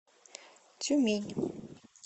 тюмень